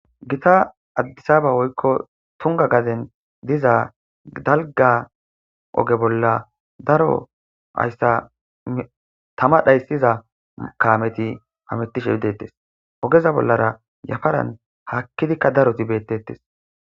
gita addisaba woykko tunga gaden diza dalga oge bolla daro hayssa tama dhayssiza kaameti hamettishe idettes ogeza bollara yafaran haakkidikka daroti beettettes